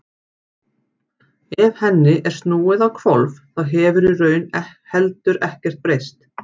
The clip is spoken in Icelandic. ef henni er snúið á hvolf þá hefur í raun heldur ekkert breyst